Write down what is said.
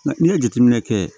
Nka n'i ye jateminɛ kɛ